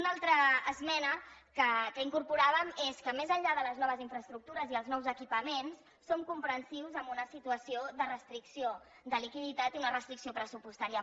una altra esmena que incorporàvem és que més enllà de les noves infraestructures i els nous equipaments som comprensius en una situació de restricció de liquiditat i una restricció pressupostària